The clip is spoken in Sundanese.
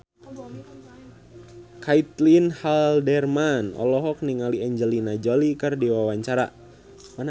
Caitlin Halderman olohok ningali Angelina Jolie keur diwawancara